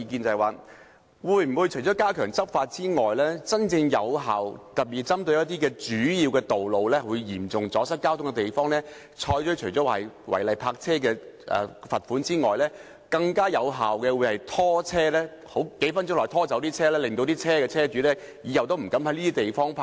對於加強執法的真正有效方法，特別是針對主要道路或嚴重阻塞交通的地方，除對違例泊車的車主施加罰款外，會否採用更有效的拖車方法，在數分鐘內把車拖走，阻止車主在這些地方泊車。